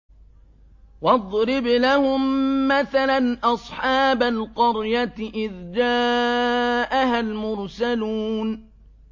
وَاضْرِبْ لَهُم مَّثَلًا أَصْحَابَ الْقَرْيَةِ إِذْ جَاءَهَا الْمُرْسَلُونَ